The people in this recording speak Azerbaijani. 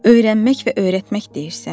Öyrənmək və öyrətmək deyirsən?